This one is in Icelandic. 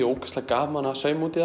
ógeðslega gaman að sauma út í